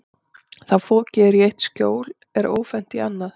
Þá fokið er í eitt skjól er ófennt í annað.